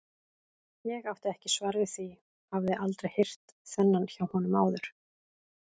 Ég átti ekki svar við því, hafði aldrei heyrt þennan hjá honum áður.